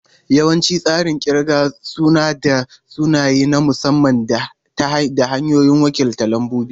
Yawancin tsarin kirga suna da sunaye na musamman da hanyoyin wakiltar lambobi.